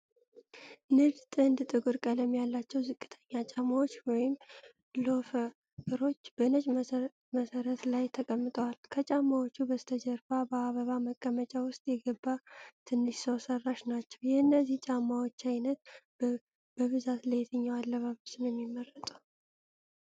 ንድ ጥንድ ጥቁር ቀለም ያላቸው ዝቅተኛ ጫማዎች (ሎፈሮች) በነጭ መሠረት ላይ ተቀምጠዋል። ከጫማዎቹ በስተጀርባ በአበባ ማስቀመጫ ውስጥ የገባ ትንሽ ሰው ሰራሽ ናችው። የእነዚህ ጫማዎች ዓይነት በብዛት ለየትኛው አለባበስ ነው የሚመረጠው?